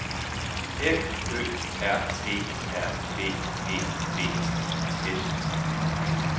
F Ø R E R B E V I S